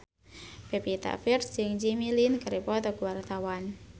Pevita Pearce jeung Jimmy Lin keur dipoto ku wartawan